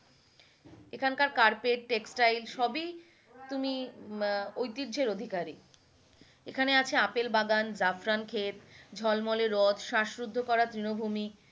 এখানকার carpet, textile সবই তুমি উম ঐতিহ্যের অধিকারী এখানে আছে আপেল বাগান, জাফরান খেত, ঝলমলে রোদ, শাসরুদ্ধ করা তৃণভূমি,